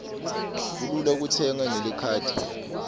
kulula kutsenga ngelikhadi nyalo